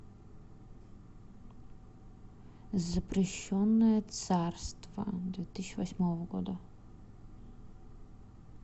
запрещенное царство две тысячи восьмого года